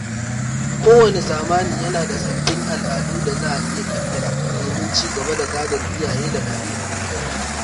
Kowane zamani yana da sabbin al'adu da za a iya ƙirƙira domin ci gaba da gadon iyaye da kakanni.